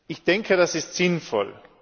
Ich denke, das ist sinnvoll.